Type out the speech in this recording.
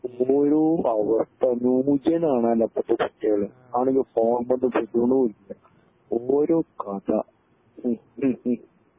ഓരോ അവസ്ഥ ന്യൂജൻ ആണല്ലോ ഇപ്പൊത്തെ കുട്ട്യോൾ അതാണെങ്കി ഫോണുമെന്ന് വിടണൂല്യ ഓരോ കഥ